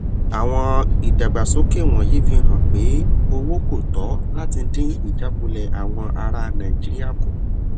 àwọn ìdàgbàsókè wọnyí fi hàn pé owó kò tó láti dín ìjákulẹ àwọn ará nàìjíríà kù